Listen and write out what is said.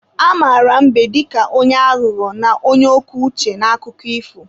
A mara mbe dịka onye aghụghọ na onye oke uche n'akụkọ ifo.